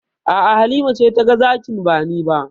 A'a, Halima ce taga zakin ba ni ba.